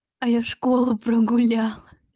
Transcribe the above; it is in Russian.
а я школу прогуляла